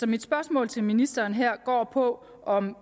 mit spørgsmål til ministeren her går på om